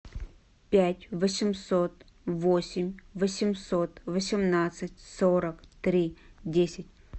пять восемьсот восемь восемьсот восемнадцать сорок три десять